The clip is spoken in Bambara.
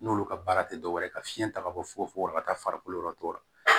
N'olu ka baara tɛ dɔwɛrɛ ye ka fiɲɛ ta ka bɔ fugo fogo ka taa farikolo yɔrɔ tɔw la